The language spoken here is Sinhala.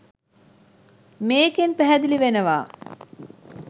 මේකෙන් පැහැදිලි වෙනවා